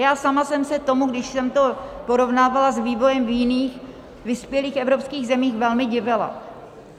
Já sama jsem se tomu, když jsem to porovnávala s vývojem v jiných vyspělých evropských zemích, velmi divila.